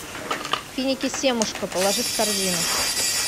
финики семушка положи в корзину